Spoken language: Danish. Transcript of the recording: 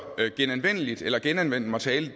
genanvendeligt eller genanvendt materiale